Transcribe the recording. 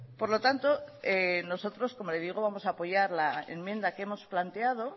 por lo tanto nosotros como le digo vamos a apoyar la enmienda que hemos planteado